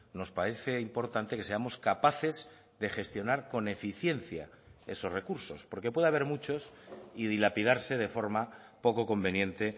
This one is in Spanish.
nos parece importante que seamos capaces de gestionar con eficiencia esos recursos porque puede haber muchos y dilapidarse de forma poco conveniente